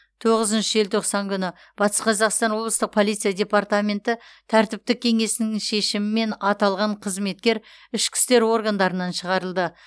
тоғызыншы желтоқсан күні батыс қазақстан облысы полиция департаменті тәртіптік кеңесінің шешімімен аталған қызметкер ішкі істер органдарынан шығарылды